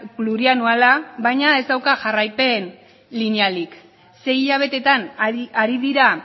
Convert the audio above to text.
plurianuala baina ez dauka jarraipen linealik sei hilabetetan ari dira